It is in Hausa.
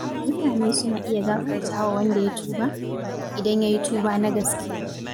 Mutane suna iya gafartawa wanda ya tuba, idan yayi tuba na gaske.